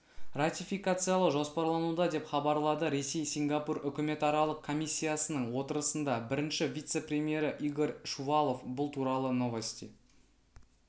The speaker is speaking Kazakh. ратификациялау жоспарлануда деп хабарлады ресей-сингапур үкіметаралық комиссиясының отырысында бірінші вице-премьері игорь шувалов бұл туралы новости